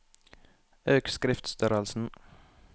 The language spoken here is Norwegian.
Øk skriftstørrelsen